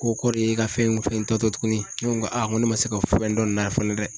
Ko kɔrɔ ye ka fɛn in fɛntɔ tɛ tuguni ne ko a n ko ne ma se ka fɛn dɔn nin na fana dɛ.